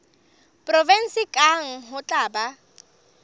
provenseng kang ho tla ba